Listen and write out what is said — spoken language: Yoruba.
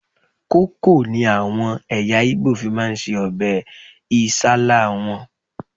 Kókò ni àwọn ẹ̀yà Ìgbò fi ń se ọbẹ̀ Isálá wọn